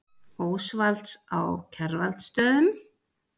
Ósvalds á Kjarvalsstöðum.